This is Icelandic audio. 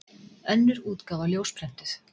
Önnur útgáfa ljósprentuð.